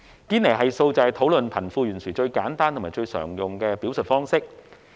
堅尼系數是討論貧富懸殊最簡單及最常用的表述方式。